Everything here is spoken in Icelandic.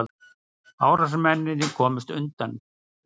Árásarmennirnir komust undan